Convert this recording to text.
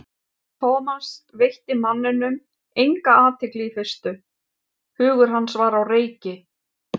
Thomas veitti manninum enga athygli í fyrstu, hugur hans var á reiki.